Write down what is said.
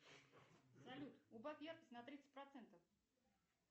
салют убавь яркость на тридцать процентов